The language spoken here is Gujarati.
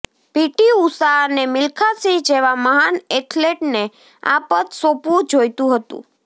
પીટી ઉષા અને મિલ્ખા સિંઘ જેવા મહાન એથ્લેટને આ પદ સોંપવું જોઈતું હતું